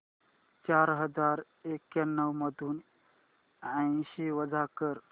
चार हजार एक्याण्णव मधून ऐंशी वजा कर